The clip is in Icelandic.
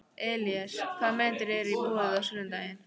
Elíeser, hvaða myndir eru í bíó á sunnudaginn?